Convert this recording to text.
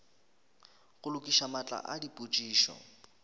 go lokiša matlakala a dipotšišo